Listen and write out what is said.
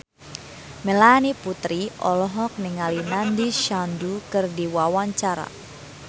Melanie Putri olohok ningali Nandish Sandhu keur diwawancara